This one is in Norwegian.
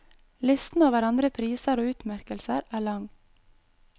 Listen over andre priser og utmerkelser er lang.